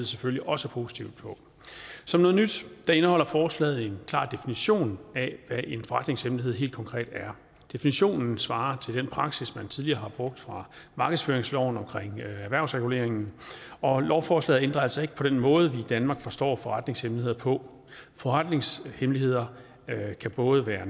selvfølgelig også positivt på som noget nyt indeholder forslaget en klar definition af hvad en forretningshemmelighed helt konkret er definitionen svarer til den praksis man tidligere har brugt for markedsføringsloven omkring erhvervsreguleringen og lovforslaget ændrer altså ikke på den måde vi i danmark forstår forretningshemmeligheder på forretningshemmeligheder kan både være